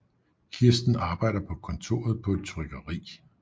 Kirsten arbejder på kontoret på et trykkeri